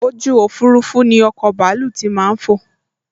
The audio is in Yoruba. ojú òfurufú ni ọkọ̀ bàálù tí màá n fò